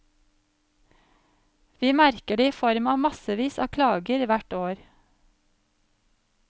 Vi merker det i form av massevis av klager hvert år.